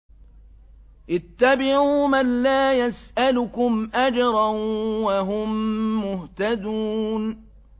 اتَّبِعُوا مَن لَّا يَسْأَلُكُمْ أَجْرًا وَهُم مُّهْتَدُونَ